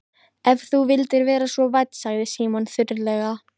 Ef þú vildir vera svo vænn sagði Símon þurrlega.